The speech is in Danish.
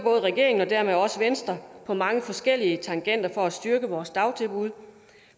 regeringen og dermed også venstre på mange forskellige tangenter for at styrke vores dagtilbud